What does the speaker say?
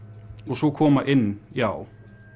svo koma inn já